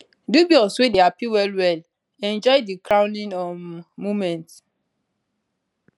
dubois wey dey happy wellwell enjoy di crowning um moment